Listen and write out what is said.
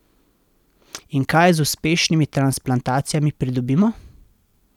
In kaj z uspešnimi transplantacijami pridobimo?